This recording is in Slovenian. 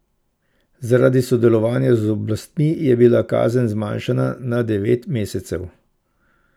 Zaradi sodelovanja z oblastmi je bila kazen zmanjšana na devet mesecev.